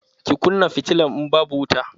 Ki kunna fitilan, in babu wuta!